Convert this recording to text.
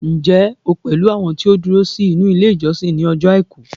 njé o pẹlú àwọn ti o duro sí inú ilé ìjósìn ni ojo aiku